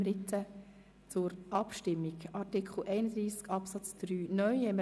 Wir kommen zur Abstimmung über Artikel 31 Absatz 3 (neu).